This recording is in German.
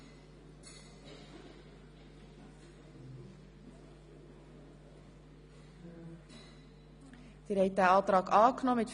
Durchführung von nur einer Lesung) (Antrag Regierungsrat und Kommission;